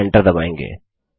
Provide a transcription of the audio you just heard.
और एंटर दबायेंगे